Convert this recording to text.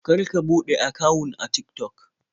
Kar ka buɗe akawun a Tik-Tok.